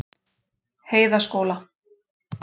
Heiðaskóla